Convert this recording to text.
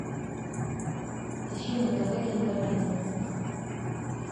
ищи на тв кинокомедия